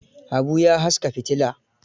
Habu ya haska fitila.